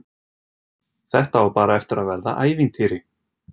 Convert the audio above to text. Þetta á bara eftir að verða ævintýri.